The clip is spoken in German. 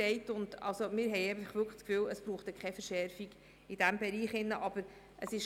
Wir sind wirklich der Ansicht, dass es in diesem Bereich keine Verschärfung braucht.